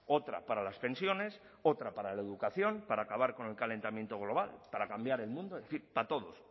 otra para las pensiones otra para la educación para acabar con el calentamiento global para cambiar el mundo en fin para todos